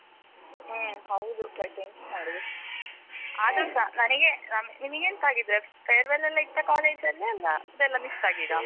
ಹ್ಮ್ ಹೌದು, ಮತ್ತೆಂತ ಮಾಡುದು ಆದ್ರೂ ಸ ನನಗೆ ನಿಮಗೆಂತ ಆಗಿದೆ farewell ಎಲ್ಲ ಇತ್ತಾ college ಅಲ್ಲೆ ಅಲ್ಲ ಅದ್ದೆಲ್ಲ miss ಆಗಿದ?